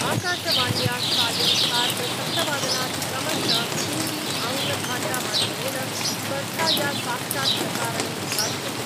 आकाशवाण्या सायं सार्धसप्तवादनात् क्रमश हिन्दी आङ्ग्लभाषामाध्यमेन स्पर्धाया साक्षात् प्रसारणं विधास्यते।